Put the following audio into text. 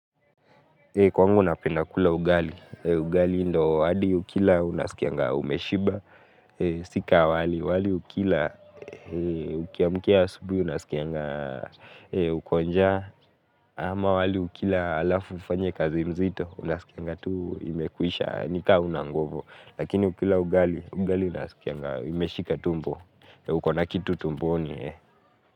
Kwangu napenda kula ugali, ugali ndo hadi ukila unasikianga umeshiba, si ka wali, wali ukila ukiamkia asubihi unasikianga uko njaa, ama wali ukila alafu ufanye kazi mzito, unasikianga tu imekuisha nikaa hauna ngovu, lakini ukila ugali, ugali unasikianga imeshika tumbo, ukona kitu tumboni.